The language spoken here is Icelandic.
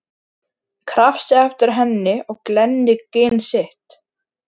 Krafsi eftir henni og glenni gin sitt.